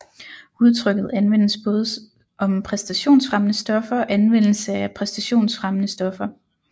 Udtrykket anvendes både om præstationsfremmende stoffer og anvendelse af præstationsfremmende stoffer